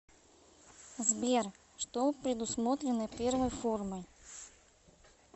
сбер что предусмотрено первой формой